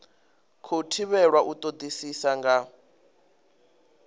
khou thivhelwa u todisisa nga